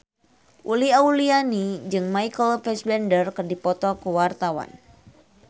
Uli Auliani jeung Michael Fassbender keur dipoto ku wartawan